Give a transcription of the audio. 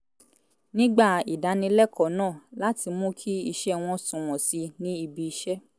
nígbà ìdánilẹ́kọ̀ọ́ náà láti mú kí iṣẹ́ wọn sunwọ̀n sí i ní ibiṣẹ́